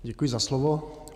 Děkuji za slovo.